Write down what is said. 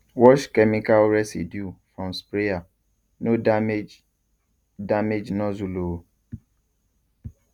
wash chemical residue from sprayer no damage damage nozzle o